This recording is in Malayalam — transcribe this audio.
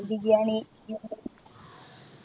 ബിരിയാണി